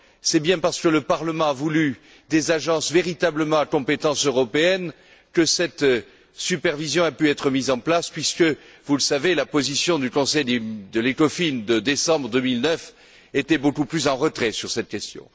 C'est bien parce que le Parlement a voulu des agences véritablement à compétence européenne que cette supervision a pu être mise en place, puisque, vous le savez, la position du Conseil ECOFIN de décembre 2009 était beaucoup plus en retrait sur cette question.